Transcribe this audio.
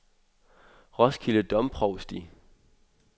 Roskilde Domprovsti